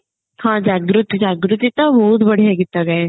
ହଁ ଜାଗୃତି ଜାଗୃତି ତ ବହୁତ ବଢିଆ ଗୀତ ଗାଏ